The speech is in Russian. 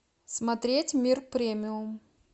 смотреть мир премиум